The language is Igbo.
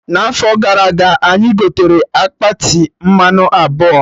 Na afọ gara aga, anyị gotere akpati mmanụ abụọ